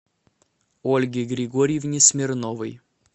ольге григорьевне смирновой